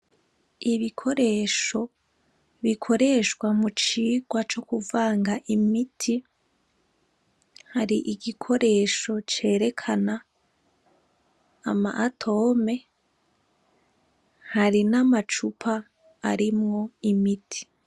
Ibikoresho bikoreshwa mu cigwa co kuvanga imiti, hari igikoresho cerekana ama atome, hari n'amacupa arimwo imiti.